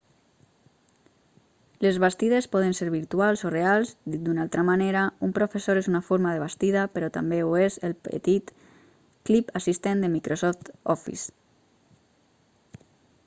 les bastides poden ser virtuals o reals dit d'una altra manera un professor és una forma de bastida però també ho és el petit clip assistent de microsoft office